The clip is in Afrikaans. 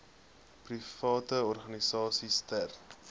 private organisasies ter